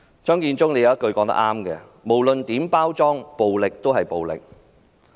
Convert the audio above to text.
張建宗有一句話說得很正確："無論如何包裝，暴力始終是暴力"。